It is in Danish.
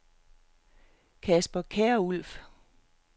Casper Kjærulff